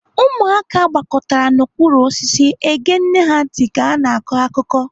Ụmụaka gbakọtara n'okpuru osisi ege nne ha ntị ka ha na-akọ akụkọ.